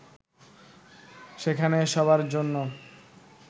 সেখানে সবার জন্য